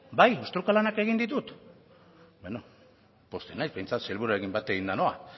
bai ostruka lanak egin ditut bueno pozten naiz behintzat sailburuarekin bat eginda noa